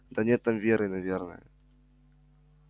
да нет там веры наверное